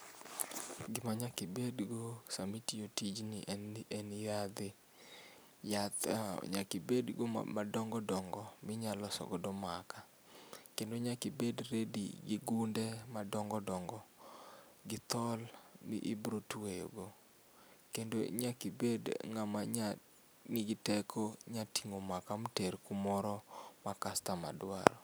Gima nyaka obed go sama itiyo tijn en ni en yadhe ,yath nyaka ibedgo madongo dongo minyalo loso godo makaa. Kendo nyaka ibed ready gi gunde madongo dongo gi thol mibiro tweyo go. Kendo nyaka ibed ngama nya, nigi teko nya tingo makaa ter kumor ma kastoma dwaro